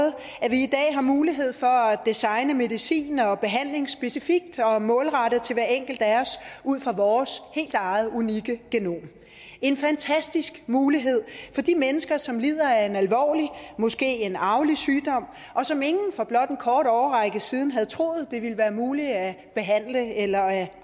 i dag har mulighed for at designe medicin og behandling specifikt og målrette til hver enkelt af os ud fra vores helt eget unikke genom en fantastisk mulighed for de mennesker som lider af en alvorlig måske en arvelig sygdom og som ingen for blot en kort årrække siden havde troet det ville være muligt at behandle eller at